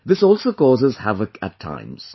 This also causes havoc at times